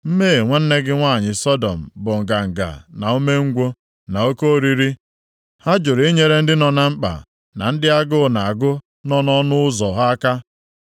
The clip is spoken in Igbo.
“ ‘Mmehie nwanne gị nwanyị Sọdọm bụ nganga, na umengwụ, na oke oriri. Ha jụrụ inyere ndị nọ na mkpa, na ndị agụụ na-agụ nọ nʼọnụ ụzọ ha aka.